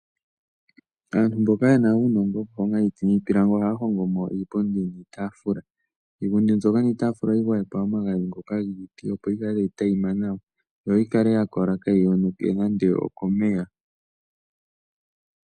Aantu mboka yena uunogo woku honga iiti niipilangi ohaa hongo mo iipundi niitafula. Iipundi mbyoka niitafula ohayi gwayekwa omagadhi ngoka giiti opo yikale tayi tayima nawa. Yo yikale ya kola kaayi yonuke nande okomeya.